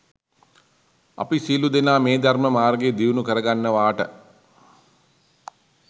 අපි සියලූ දෙනා මේ ධර්ම මාර්ගය දියුණු කරගන්නවාට